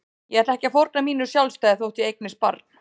Ég ætla ekki að fórna mínu sjálfstæði þótt ég eignist barn.